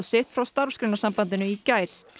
sitt frá Starfsgreinasambandinu í gær